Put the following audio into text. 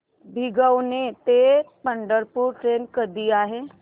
भिगवण ते पंढरपूर ट्रेन कधी आहे